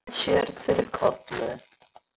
Svo renndi hann sér til Kollu.